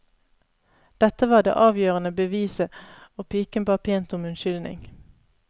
Dette var det avgjørende beviset, og piken ba pent om unnskyldning.